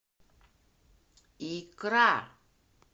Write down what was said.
икра